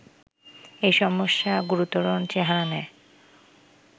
এ সমস্যা গুরুতর চেহারা নেয়